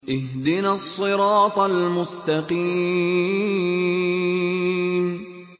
اهْدِنَا الصِّرَاطَ الْمُسْتَقِيمَ